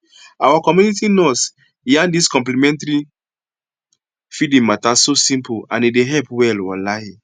our community nurse yarn dis complementary feeding mata so simple and e dey help well walahi